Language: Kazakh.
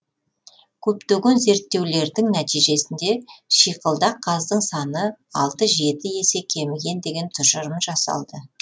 көптеген зерттеулердің нәтижесінде шиқылдақ қаздың саны алты жеті есе кеміген деген тұжырым жасалды